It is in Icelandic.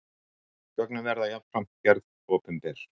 Gögnin verði jafnframt gerð opinber